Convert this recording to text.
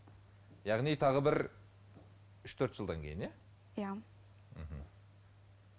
яғни тағы бір үш төрт жылдан кейін иә иә мхм